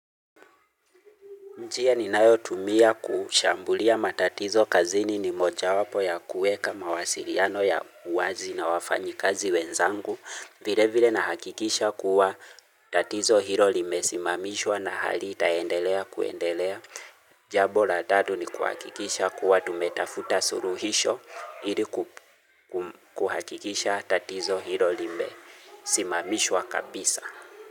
Njia ninayotumia kushambulia matatizo kazini ni mojawapo ya kuweka mawasiliano ya uwazi na wafanyikazi wenzangu. Vile vile nahakikisha kuwa tatizo hilo limesimamishwa na hali itaendelea kuendelea. Jambo la tatu ni kuhakikisha kuwa tumetafuta suluhisho ili kuhakikisha tatizo hilo limesimamishwa kabisa.